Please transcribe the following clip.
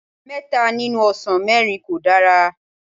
mẹta nínú ọsàn mẹ́rin kò dára.